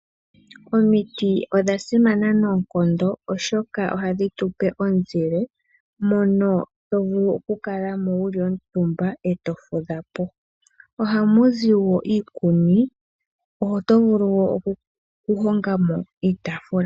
Omiti odha simana noonkondo oshoka ohadhi tupe omuzile. Mono tovulu oku kalamo wa kuutumba eto vululukwa po. Ohamuzi woo iikuni oto vulu woo oku hongamo iitaafula.